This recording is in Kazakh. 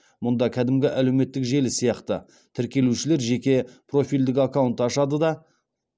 мұнда кәдімгі әлеуметтік желі сияқты тіркелушілер жеке профильдік аккаунт ашады да